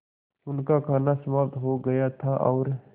उनका खाना समाप्त हो गया था और